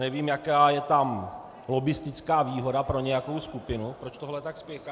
Nevím, jaká je tam lobbistická výhoda pro nějakou skupinu, proč tohle tak spěchá.